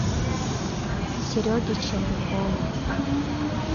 сереге червякову